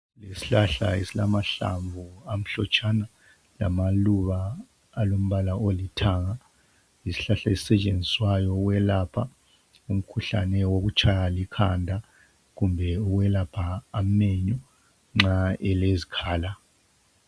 Isihlahla esilamahlamvu amhlotshana lamaluba alombala olithanga yisihlahla esisetshenziswayo ukwelapha umkhuhlane wokutshaywa likhanda kumbe ukwelapha emenyu nxa elezikhala.